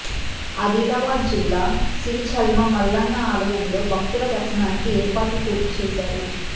ఆదిలాబాద్ జిల్లా సిరిచెల్మ మల్లన్న ఆలయంలో భక్తుల దర్శనానికి ఏర్పాట్లు పూర్తి చేశారు